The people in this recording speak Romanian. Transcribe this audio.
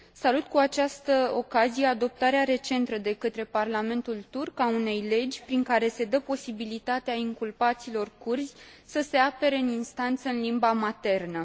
Salut cu această ocazie adoptarea recentă de către parlamentul turc a unei legi prin care se dă posibilitatea inculpaților kurzi să se apere în instanță în limba maternă.